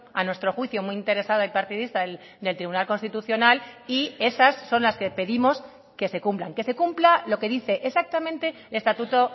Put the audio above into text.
a nuestro juicio muy interesada y partidista del tribunal constitucional y esas son las que pedimos que se cumplan que se cumpla lo que dice exactamente el estatuto